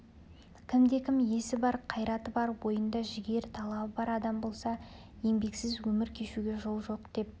кімде-кім есі бар қайраты бар бойында жігер талабы бар адам болса еңбексіз өмір кешуге жол жоқ деп